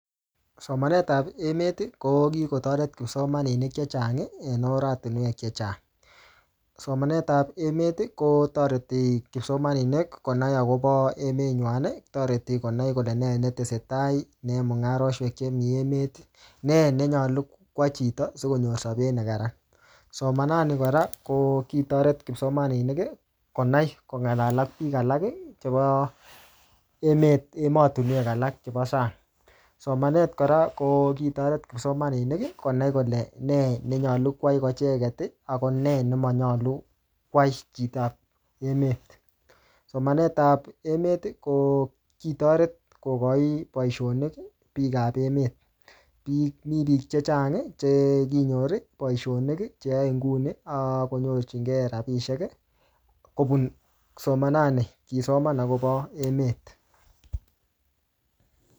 Somanet ap emet, ko kikotoret kipsomaninik chechang, en oratunwek chechang. Somanet ap emet, kotoreti kipsomaninik konai akobo emet nywan. Toreti konai kole nee netesetai neyae mung'aroshek chemi emet. Nee nenyolu kwai chito sikonyor sabet ne kararan. Somanat nii kora, ko kitoret kipsomaninik, konai kong'alal ak biik alak, chebo emet emotunwek alak chebo sang. Somanet kora, ko kitoret kipsomaninik konai kole nee nenyolu kwai ko icheket, ako nee nemanyolu kwai chitop emet. Somanet ap emet, ko kitoret kokochi boisonik biik ap meet. Mii biik chechang, che kinyor boisonik cheyae nguni, akonyorchikei rabisiek kobun somanat nii, kisoman akobo emet